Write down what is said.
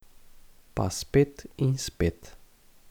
Pa spet in spet.